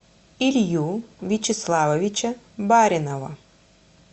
илью вячеславовича баринова